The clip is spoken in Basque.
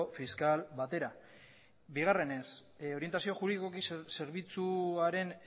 fiskal batera bigarrenez orientazio juridikoaren zerbitzuaren